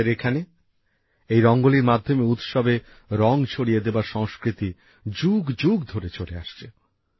আমাদের এখানে এই রঙ্গোলির মাধ্যমে উৎসবে রঙ ছড়িয়ে দেবার সংস্কৃতি যুগ যুগ ধরে চলে আসছে